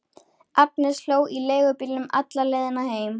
Agnes hló í leigubílnum alla leiðina heim.